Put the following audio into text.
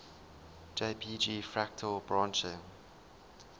jpg fractal branching